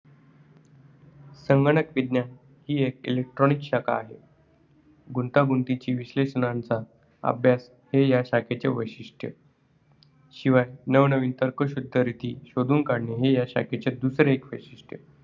संगणक विज्ञान ही एक electronic शाखा आहे. गुंतागुंतीच्या विश्लेषणांचा अभ्यास हे ह्या शाखेचे वैशिष्ट्य आहे. शिवाय नवीननवीन तर्कशुद्ध रिती शोधून काढणे हे ह्या शाखेचे दुसरे एक वैशिष्ट्य आहे.